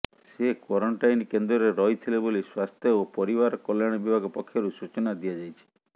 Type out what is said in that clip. ସେ କ୍ୱାରେଣ୍ଟିନ୍ କେନ୍ଦ୍ରରେ ରହିଥିଲେ ବୋଲି ସ୍ୱାସ୍ଥ୍ୟ ଓ ପରିବାର କଲ୍ୟାଣ ବିଭାଗ ପକ୍ଷରୁ ସୂଚନା ଦିଆଯାଇଛି